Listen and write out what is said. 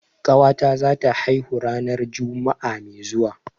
Ƙawata zata haihu ranar juma'a mai zuwa.